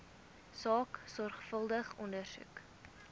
saak sorgvuldig ondersoek